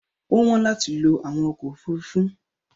Ó wọ́n láti lo àwọn ọkọ̀ òfurufú.